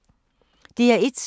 DR1